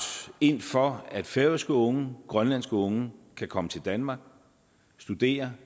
ind for at færøske unge og grønlandske unge kan komme til danmark og studere